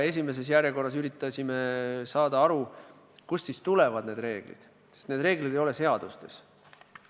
Esimeses järjekorras üritasime aru saada, kust need reeglid tulevad, sest neid reegleid ei ole seadustes.